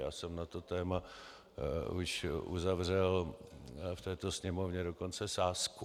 Já jsem na to téma již uzavřel v této Sněmovně dokonce sázku